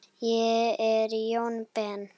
Ég er Jóni Ben.